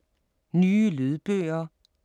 Nye lydbøger